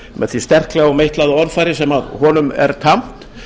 með því sterklega og meitlaða orðfari sem honum er tamt